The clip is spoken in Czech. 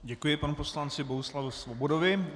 Děkuji panu poslanci Bohuslavu Svobodovi.